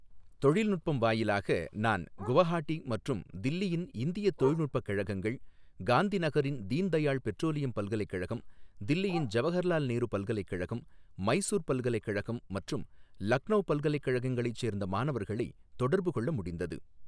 தொழில்நுட்பம் வாயிலாக நான் குவஹாட்டி மற்றும் தில்லியின் இந்தியத் தொழில்நுட்பக் கழகங்கள், காந்திநகரின் தீன் தயாள் பெட்ரோலியம் பல்கலைக்கழகம், தில்லியின் ஜவஹர்லால் நேரு பல்கலைக்கழகம், மைசூர் பல்கலைக்கழகம் மற்றும் லக்னோ பல்கலைக்கழங்களைச் சேர்ந்த மாணவர்களைத் தொடர்பு கொள்ள முடிந்தது.